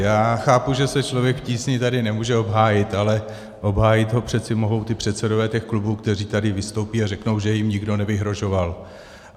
Já chápu, že se Člověk v tísni tady nemůže obhájit, ale obhájit ho přece mohou ti předsedové těch klubů, kteří tady vystoupí a řeknou, že jim nikdo nevyhrožoval.